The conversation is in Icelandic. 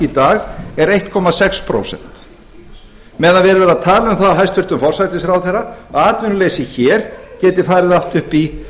í dag er einn komma sex prósent meðan verið er að tala um það af hæstvirtum forsætisráðherra að atvinnuleysi hér geti farið allt upp í